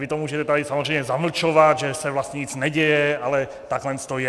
Vy to můžete tady samozřejmě zamlčovat, že se vlastně nic neděje, ale takhle to je.